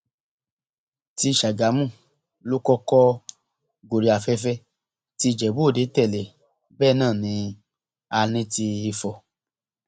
ti ṣàgámù ló kọkọ gorí afẹfẹ tí ìjẹbúòde tẹlẹ bẹẹ náà ní náà ní ti ifo